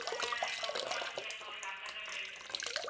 இங்க எங்க ஊர் பக்கத்துல இருக்க ஒரு doctor ட்ட போயிட்டு இருக்கேன்